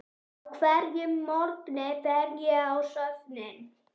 Á hverjum morgni fer ég á söfnin.